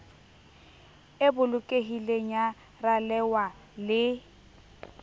e bolokehileng ya ralewa le